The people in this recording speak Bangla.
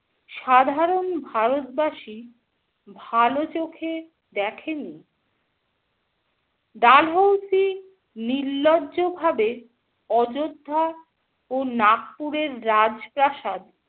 সাধারণ ভারতবাসী ভালো চোখে দেখেনি । ডালহৌসি নির্লজ্জভাবে অযোধ্যা ও নাগপুরের রাজপ্রাসাদ